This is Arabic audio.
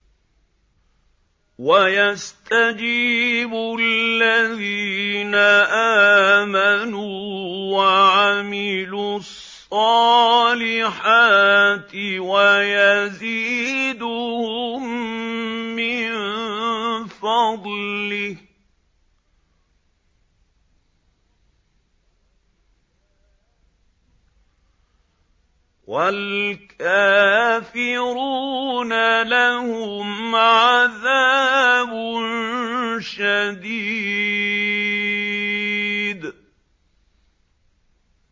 وَيَسْتَجِيبُ الَّذِينَ آمَنُوا وَعَمِلُوا الصَّالِحَاتِ وَيَزِيدُهُم مِّن فَضْلِهِ ۚ وَالْكَافِرُونَ لَهُمْ عَذَابٌ شَدِيدٌ